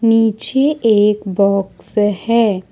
नीचे एक बॉक्स है।